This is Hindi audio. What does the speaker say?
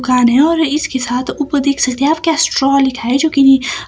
और इसके साथ ऊपर देख सकते है आप क्या जो कि--